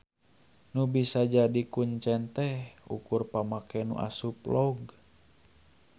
Nu bisa jadi kuncen teh ukur pamake nu asup log.